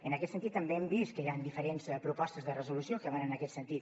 en aquest sentit també hem vist que hi han diferents propostes de resolució que van en aquest sentit